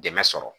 Dɛmɛ sɔrɔ